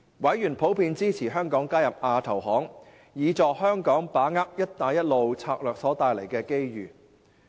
委員普遍支持香港加入亞投行，以助香港把握"一帶一路"策略所帶來的機遇。